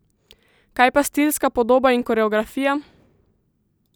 Kaj pa stilska podoba in koreografija?